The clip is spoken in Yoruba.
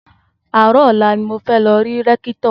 Àárò ọ̀la ni mo fẹ́ lọ rí Rékítò